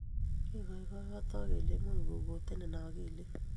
Kikoikotook kele imuch kogootenit akilinyi